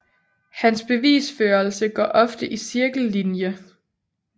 Hans bevisførelse går ofte i cirkellinje